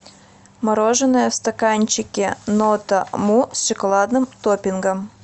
мороженое в стаканчике нота му с шоколадным топпингом